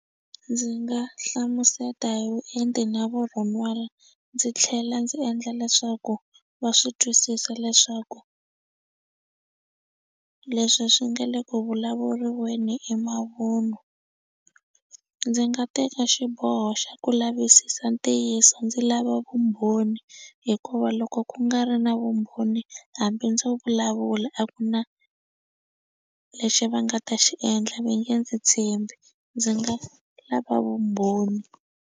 Ndzi nga hlamuseta hi vuenti na vurhon'wana ndzi tlhela ndzi endla leswaku va swi twisisa leswaku leswi swi nga le ku vulavuriweni i mavun'wa ndzi nga teka xiboho xa ku lavisisa ntiyiso ndzi lava vumbhoni hikuva loko ku nga ri na vumbhoni hambi ndzo vulavula a ku na lexi va nga ta xi endla ve nge ndzi tshembi ndzi nga lava vumbhoni.